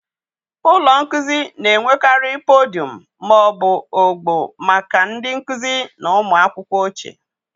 Ụlọ nkuzi na-enwekarị podiọm ma ọ bụ ogbo maka ndị nkuzi na ụmụ akwụkwọ oche.